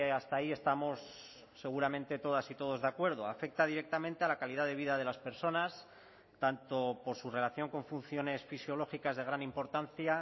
hasta ahí estamos seguramente todas y todos de acuerdo afecta directamente a la calidad de vida de las personas tanto por su relación con funciones fisiológicas de gran importancia